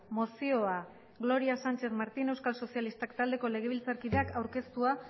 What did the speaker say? mozioa gloria sánchez martín euskal sozialistak taldeko legebiltzarkideak aurkeztua